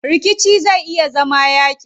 Rikici zai iya zama yaaƙi.